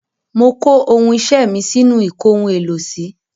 Mo kó ohun iṣẹ́ mi sínú ìkóhun-èlò-sí.